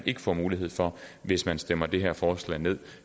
ikke får mulighed for hvis man stemmer det her forslag ned